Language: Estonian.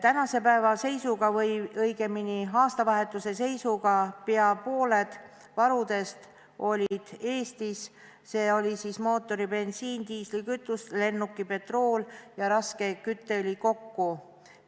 Tänase päeva või õigemini aastavahetuse seisuga olid pea pooled varudest Eestis, s.o mootoribensiin, diislikütus, lennukipetrool ja raske kütteõli kokku.